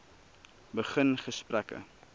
begin gesprekke